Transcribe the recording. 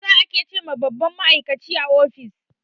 "Sir" ake ce wa babban ma'aikaci a office